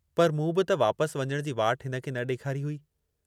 पर मूं बि त वापसि वञण जी वाट हिन खे न ॾेखारी हुई।